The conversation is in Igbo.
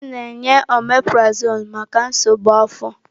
A na-enye ọmeprazọlụ maka nsogbu afọ.